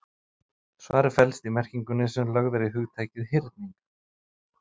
Svarið felst í merkingunni sem lögð er í hugtakið hyrning.